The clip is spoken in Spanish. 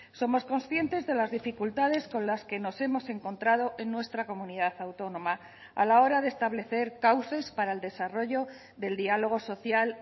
somos conscientes de las dificultades con las que nos hemos encontrado en nuestra comunidad autónoma a la hora de establecer cauces para el desarrollo del diálogo social